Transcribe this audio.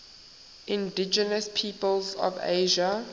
indigenous peoples of asia